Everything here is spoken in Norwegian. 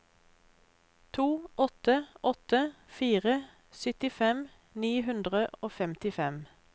to åtte åtte fire syttifem ni hundre og femtifem